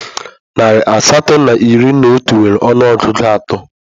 Narị asatọ na iri na otu nwere ọnụọgụ atọ